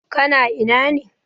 Ka na ina?